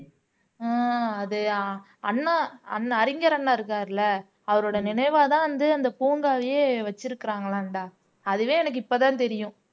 ஆஹ் அது அண்ணா அண் அறிஞர் அண்ணா இருக்காருல்ல அவரோட நினைவாதான் வந்து அந்த பூங்காவையே வச்சிருக்கறாங்களாம் டா அதுவே எனக்கு இப்பதான் தெரியும்